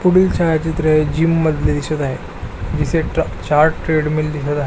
पुढील छायाचित्र हे जिम मधले दिसत आहे जिथे चार ट्रेडमिल दिसत आहे.